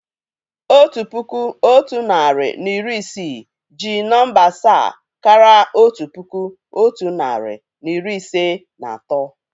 Otu puku, otu narị na iri isii jí nọ̀mbà asaa káraà otu puku, otu narị na iri ise na atọ